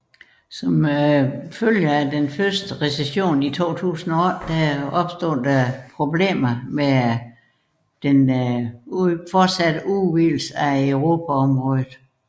Men som en følge af den første recession i 2008 opstod der problemer med den fortsatte udvidelse af euroområdet